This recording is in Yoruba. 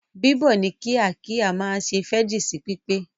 Bíbọ̀ ní kíkà kíkà máa se fẹ́jì sí pípé